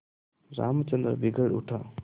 रामचंद्र बिगड़ उठा